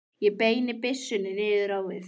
Ég beini byssunni niður á við.